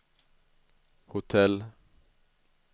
hotell